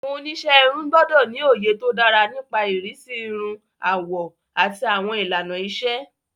Àwọn oníṣẹ́ irun gbọ́dọ̀ ní òye tó dára nípa ìrísí irun, àwọ̀, àti àwọn ìlànà ìṣe.